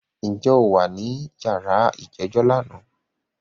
Ǹjẹ́ o wà ní yàrá ìjẹ́jọ́ lánàá?